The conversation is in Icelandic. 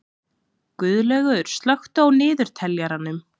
Guðlaugur, slökktu á niðurteljaranum.